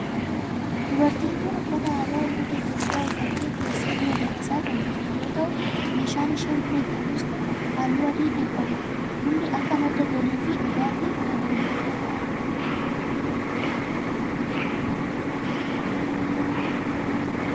Dubartiin tun uffata aadaa ummata Itiyophiyaa uffattee teessee buna danfisaa kan jirtu yoo ta'u meeshaan isheen buna ittiin buustu halluu adii kan qabudha. Bunni akka madda galii fi dhugaatif kan ooludha.